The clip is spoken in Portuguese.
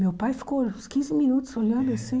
Meu pai ficou uns quinze minutos olhando assim.